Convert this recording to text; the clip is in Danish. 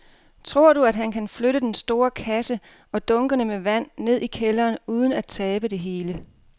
Tror du, at han kan flytte den store kasse og dunkene med vand ned i kælderen uden at tabe det hele?